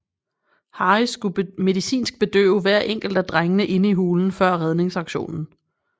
Harris skulle medicinsk bedøve hver enkelt af drengene inde i hulen før redningsaktionen